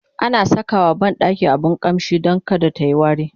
ana Saka wa banɗaki abun ƙamshi Dan kada tayi wari